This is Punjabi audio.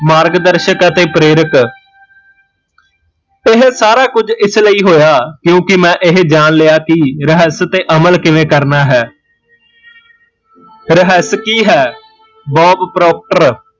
ਮਾਰਗ ਦਰਸ਼ਕ ਅਤੇ ਪ੍ਰੇਰਕ ਇਹ ਸਾਰਾ ਕੁਜ ਇਸ ਲਈ ਹੋਇਆ ਕਿਓਕਿ ਮੈਂ ਇਹ ਜਾਣ ਲਿਆ ਕੀ ਰਹੱਸ ਤੇ ਅਮਲ ਕਿਵੇ ਕਰਨਾ ਹੈ ਰਹੱਸ ਕੀ ਹੈ, ਬੋਬ ਪਰੋਪਟਰ